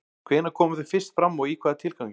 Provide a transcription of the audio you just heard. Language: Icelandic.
Hvenær komu þau fyrst fram og í hvaða tilgangi?